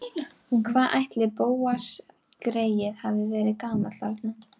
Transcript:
Hvað ætli Bóas greyið hafi verið gamall þarna?